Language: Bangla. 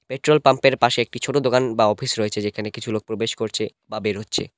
পেট্রোল পাম্পের পাশে একটি ছোট দোকান বা অফিস রয়েছে যেখানে কিছু লোক প্রবেশ করছে বা বের হচ্ছে।